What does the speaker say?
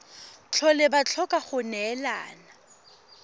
tlhole ba tlhoka go neelana